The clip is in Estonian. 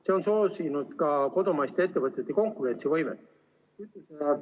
See on soosinud ka kodumaiste ettevõtete konkurentsivõimet.